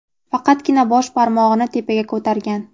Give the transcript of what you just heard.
faqatgina bosh barmog‘ini tepaga ko‘targan.